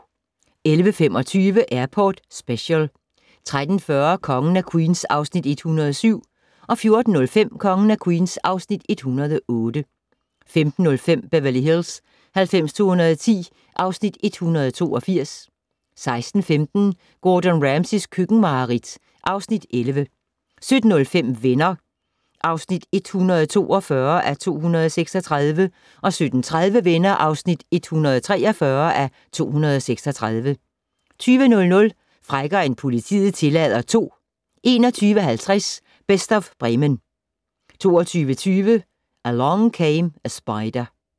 11:25: Airport Special 13:40: Kongen af Queens (Afs. 107) 14:05: Kongen af Queens (Afs. 108) 15:05: Beverly Hills 90210 (Afs. 182) 16:15: Gordon Ramsays køkkenmareridt (Afs. 11) 17:05: Venner (142:236) 17:30: Venner (143:236) 20:00: Frækkere end politiet tillader 2 21:50: Best of Bremen 22:20: Along Came a Spider